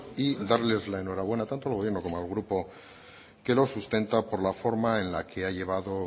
y darles la enhorabuena tanto al gobierno como al grupo que lo sustenta por la forma en la que ha llevado